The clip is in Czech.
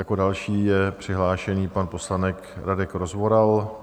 Jako další je přihlášený pan poslanec Radek Rozvoral.